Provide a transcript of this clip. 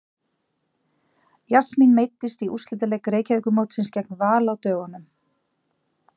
Jasmín meiddist í úrslitaleik Reykjavíkurmótsins gegn Val á dögunum.